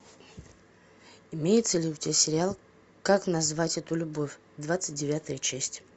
имеется ли у тебя сериал как назвать эту любовь двадцать девятая часть